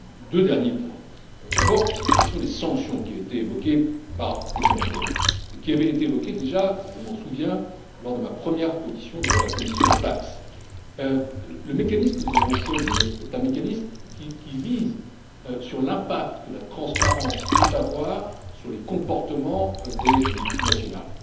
Deux derniers points enfin d'abord, la question des sanctions qui a été évoquée par plusieurs d'entre vous et qui avait déjà été évoquée, je m'en souviens, lors de ma première audition devant la commission TAXE. Le mécanisme que nous avons choisi est un mécanisme qui vise l'impact que la transparence peut avoir sur les comportements des multinationales.